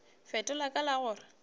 fetola ka la go re